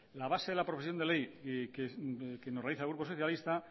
la base de la proposición de ley que nos realiza el grupo socialista